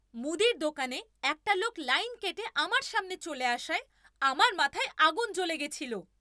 মুদির দোকানে একটা লোক, লাইন কেটে আমার সামনে চলে আসায় আমার মাথায় আগুন জ্বলে গেছিল।